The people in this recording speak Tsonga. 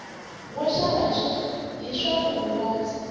wo xava hi swa vuhungasi